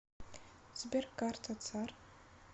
сбер карта цар